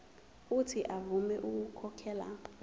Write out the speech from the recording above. uuthi avume ukukhokhela